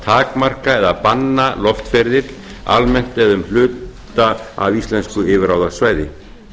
takmarka eða banna loftferðir almennt eða um hluta af íslensku yfirráðasvæði